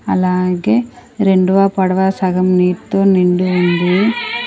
అలాగే రెండ్వ పడవ సగం నీట్తో నిండి ఉంది.